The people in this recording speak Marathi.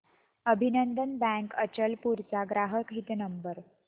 अभिनंदन बँक अचलपूर चा ग्राहक हित नंबर